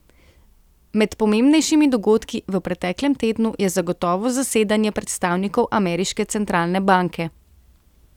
Med pomembnejšimi dogodki v preteklem tednu je zagotovo zasedanje predstavnikov ameriške centralne banke.